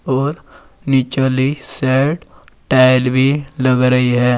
और नीचे वाली साइड टाइल भी लग रही है।